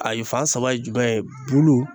A ye fan saba ye jumɛn ye bulu